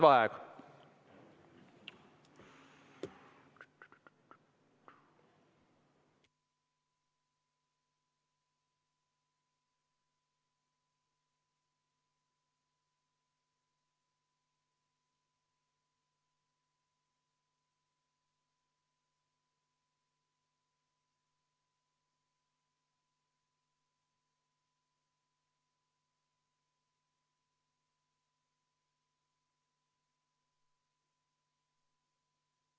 Vaheaeg kümme minutit.